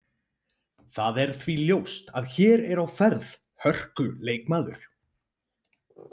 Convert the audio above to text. Það er því ljóst að hér er á ferð hörku leikmaður.